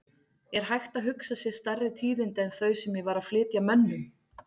Er hægt að hugsa sér stærri tíðindi en þau sem ég var að flytja mönnum?!